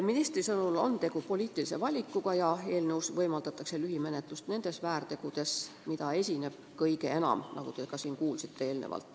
Ministri sõnul on tegu poliitilise valikuga ja eelnõu kohaselt võimaldatakse lühimenetlust nende väärtegude korral, mida esineb kõige enam.